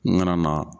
N nana na